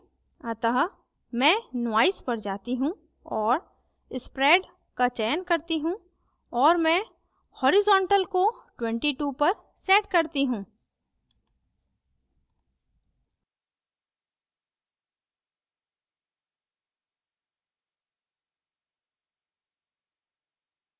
अतः मैं noise पर जाती choose और spread का चयन करती choose और मैं horizontal क्षैतिज को 22 पर set करती choose